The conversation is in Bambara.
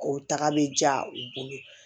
O taga bɛ diya u bolo